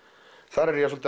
þar er ég að